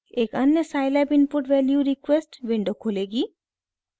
एक अन्य scilab input value request window खुलेगी